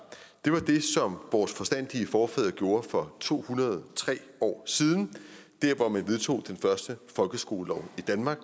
var det som vores forstandige forfædre gjorde for to hundrede og tre år siden da man vedtog den første folkeskolelov i danmark